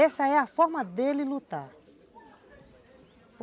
Essa é a forma dele lutar.